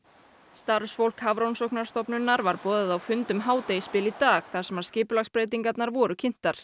starfsfólk Hafrannsóknastofnunar var boðað á fund um hádegisbil í dag þar sem skipulagsbreytingarnar voru kynntar